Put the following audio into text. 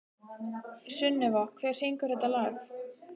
Sunneva, hver syngur þetta lag?